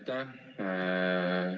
Aitäh!